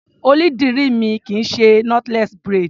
Onídìrí mi kì í ṣe knotless braids.